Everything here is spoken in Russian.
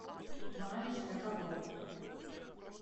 ваниш для ковров